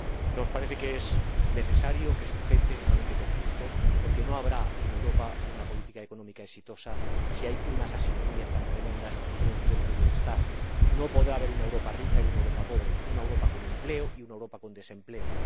Nos parece que es necesario, que es urgente —no solamente que es justo—, porque no habrá en Europa una política económica exitosa si hay unas asimetrías tan tremendas en los niveles de bienestar. No podrá haber una Europa rica y una Europa pobre, una Europa con empleo y una Europa con desempleo.